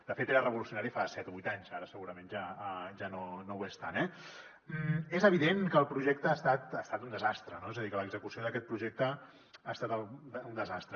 de fet era revolucio nari fa set o vuit anys ara segurament ja no ho és tant eh és evident que el projecte ha estat un desastre és a dir que l’execució d’aquest projecte ha estat un desastre